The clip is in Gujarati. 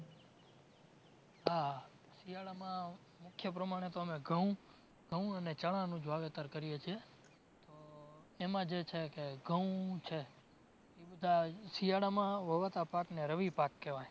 હા, શિયાળામાં મુખ્ય પ્રમાણે તો અમે ઘઉં, ઘઉં અને ચણાનું જ વાવેતર કરીએ છે. ઉહ એમાં જે છે કે ઘઉં છે, એ બધા શિયાળામાં વવાતા પાક ને રવિ પાક કેવાય